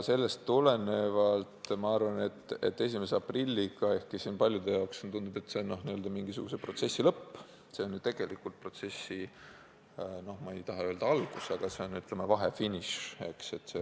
Sellest tulenevalt ma arvan, et ehkki paljudele tundub, et 1. aprill on mingisuguse protsessi lõpp, on see tegelikult protsessi no mitte just algus, aga, ütleme, vahefiniš.